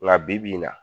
Nka bibi in na